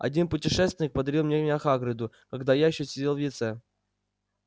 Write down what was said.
один путешественник подарил меня хагриду когда я ещё сидел в яйце